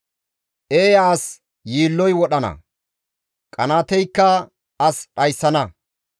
Eeya as yiilloy wodhana; qanaateykka as dhayssana.